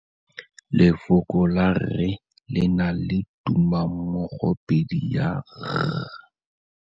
Lefoko la rre le na le tumammogôpedi ya, r.